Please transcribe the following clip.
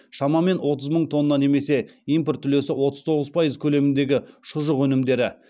шамамен отыз мың тонна немесе импорт үлесі отыз тоғыз пайыз көлеміндегі шұжық өнімдері